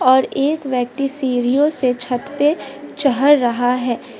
और एक व्यक्ति सीढ़ियों से छत पे चढ़ रहा है।